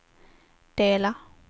dela